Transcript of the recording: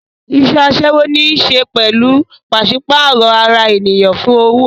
Iṣẹ́ aṣẹ́wó ní í ṣe pẹ̀lú pàṣípààrọ̀ ara ènìyàn fún owó